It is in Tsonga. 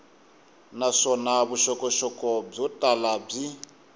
naswona vuxokoxoko byo tala byi